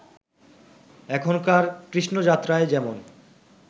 এখনকার কৃষ্ণযাত্রায় যেমন